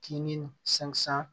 Kinin san